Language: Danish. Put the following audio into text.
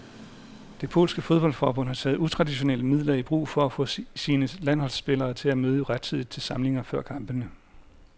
Det polske fodboldforbund har taget utraditionelle midler i brug for at få sine landsholdsspillere til at møde rettidigt til samlinger før kampene.